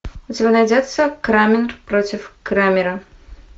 у тебя найдется крамер против крамера